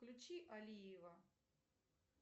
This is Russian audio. включи алиева